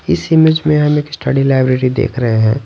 इस इमेज में हम एक स्टडी लाइब्रेरी देख रहे हैं।